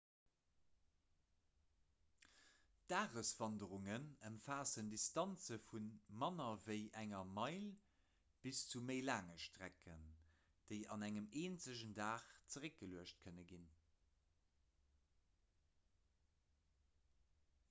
dageswanderungen ëmfaassen distanze vu manner ewéi enger meil bis zu méi laange strecken déi an engem eenzegen dag zeréckgeluecht kënne ginn